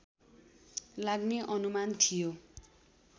लाग्ने अनुमान थियो